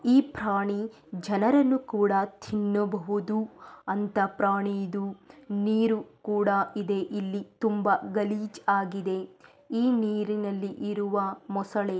ಈ ಪ್ರಾಣಿ ಜನರನ್ನು ಕೂಡ ತಿನ್ನಬಹುದು ಅಂತ ಪ್ರಾಣಿದು ನೀರು ಕೂಡ ಇದೆ ಇಲ್ಲಿ ತುಂಬಾ ಗಲೀಜಾಗಿದೆ ಈ ನೀರಿನಲ್ಲಿ ಇರುವ ಮೊಸಳೆ